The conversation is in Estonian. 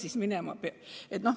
Kuhu ta minema peab?